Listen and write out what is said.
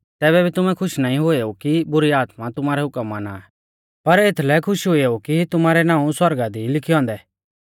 तैबै भी तुमै खुश नाईं हुएऊ कि बुरी आत्मा तुमारै हुकम माना आ पर एथलै खुश हुएऊ कि तुमारै नाऊं सौरगा दी ई लीखै औन्दै